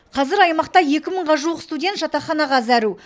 қазір аймақта екі мыңға жуық студент жатақханаға зәру